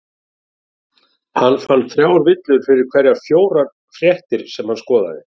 Hann fann þrjár villur fyrir hverjar fjórar fréttir sem hann skoðaði.